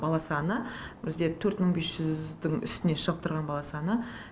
бала саны бізде төрт мың бес жүздің үстіне шығып тұрған бала саны